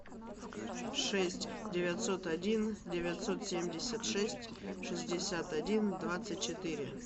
шесть девятьсот один девятьсот семьдесят шесть шестьдесят один двадцать четыре